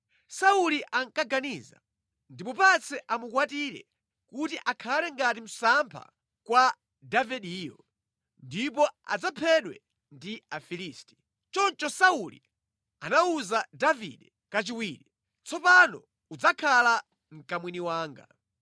Sauli ankaganiza kuti, “Ndimupatse amukwatire kuti akhale ngati msampha kwa Davideyo, ndipo adzaphedwe ndi Afilisti.” Choncho Sauli anawuza Davide kachiwiri, “Tsopano udzakhala mkamwini wanga.”